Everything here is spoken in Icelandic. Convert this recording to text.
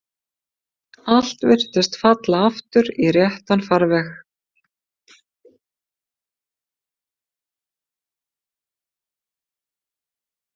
Allt virtist falla aftur í réttan farveg.